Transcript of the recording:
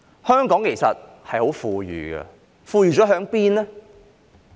香港其實很富裕，財富在哪裏？